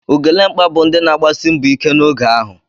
Ugelemkpa bụ ndị na-agbasi mbọ ike n'oge ahụ.